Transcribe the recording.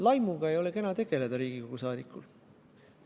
Laimuga ei ole Riigikogu liikmel kena tegeleda.